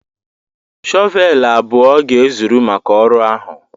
shọvel abụọ ga-ezuru maka ọrụ ahụ.